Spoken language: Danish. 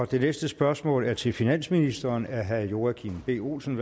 det næste spørgsmål er til finansministeren af herre joachim b olsen